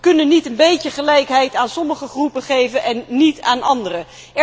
Wij kunnen niet een beetje gelijkheid aan sommige groepen geven en niet aan andere.